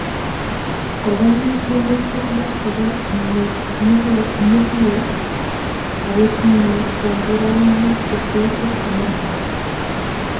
Kokoyai tiemutik lo chebo nyuklia ako tinye komborainik che tos it Amerika